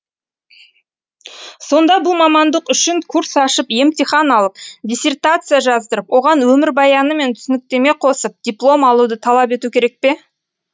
сонда бұл мамандық үшін курс ашып емтихан алып диссертация жаздырып оған өмірбаяны мен түсініктеме қосып диплом алуды талап ету керек пе